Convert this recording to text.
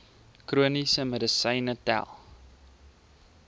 chroniese medisyne tel